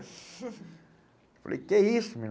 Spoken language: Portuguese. Falei, que isso, minha